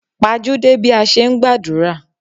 Pajúdé bí a ṣe ń gbàdúrà.